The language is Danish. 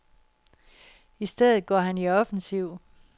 I stedet går han i offensiv.